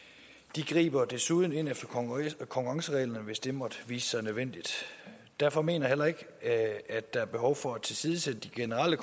de griber desuden ind efter konkurrencereglerne hvis det måtte vise sig nødvendigt derfor mener jeg heller ikke at der er behov for at tilsidesætte de generelle